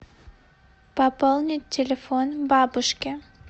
пополнить телефон бабушки